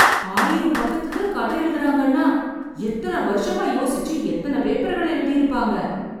ஆயிரம் பக்கத்துக்கு கதை எழுதறாங்கன்னா, எத்தன வருஷமா யோசிச்சு, எத்தன பேப்பர்கள்ள எழுதியிருப்பாங்க...